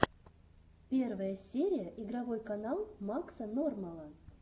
первая серия игровой канал макса нормала